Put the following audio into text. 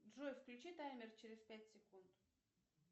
джой включи таймер через пять секунд